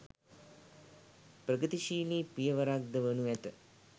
ප්‍රගතිශීලී පියවරක් ද වනු ඇත.